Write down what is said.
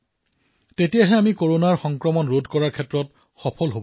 তেতিয়াহে আমি কৰোনা প্ৰাদুৰ্ভাৱ ৰোধ কৰাত সফল হম